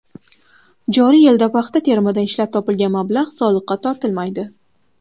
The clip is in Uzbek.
Joriy yilda paxta terimidan ishlab topilgan mablag‘lar soliqqa tortilmaydi.